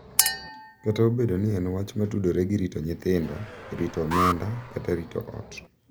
Kata obedo ni en wach ma tudore gi rito nyithindo, rito omenda, kata rito ot—